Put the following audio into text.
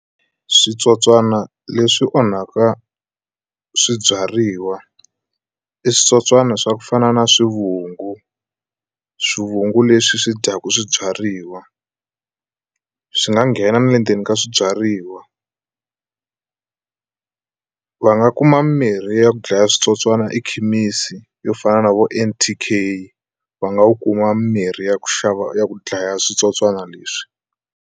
Switsotswana leswi onhaka swibyariwa i switsotswana swa ku fana na swivungu swivungu leswi swi dyaku swibyariwa swi nga nghena na le endzeni ka swibyariwa va nga kuma mirhi ya ku dlaya switsotswana ekhemisi yo fana na vo N_T_k va nga u kuma mirhi ya ku xava ya ku dlaya switsotswana leswi.